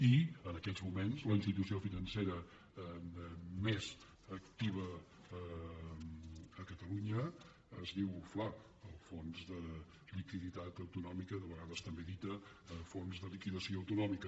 i en aquests moments la institució financera més activa a catalunya es diu fla el fons de liquiditat autonòmica de vegades també dit fons de liquidació autonòmica